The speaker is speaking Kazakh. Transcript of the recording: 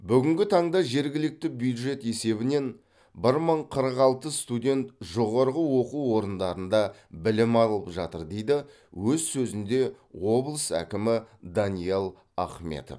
бүгінгі таңда жергілікті бюджет есебінен бір мың қырық алты студент жоғарғы оқу орындарында білім алып жатыр дейді өз сөзінде облыс әкімі даниал ахметов